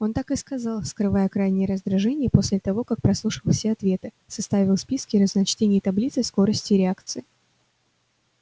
он так и сказал скрывая крайнее раздражение после того как прослушал все ответы составил списки разночтений и таблицы скоростей реакции